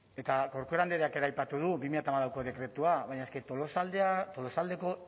eta corcuera andreak ere aipatu du bi mila hamalauko dekretua baina eske tolosaldeko